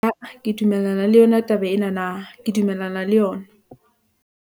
Aa, ke dumellana le yona taba enana , ke dumellana le yona.